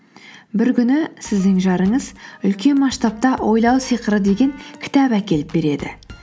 бір күні сіздің жарыңыз үлкен масштабта ойлау сиқыры деген кітап әкеліп береді